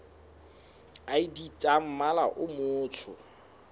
id tsa mmala o motsho